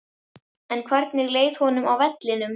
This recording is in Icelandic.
En hvernig leið honum á vellinum?